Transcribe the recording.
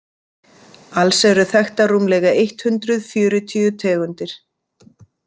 Alls eru þekktar rúmlega eitt hundruð fjörutíu tegundir.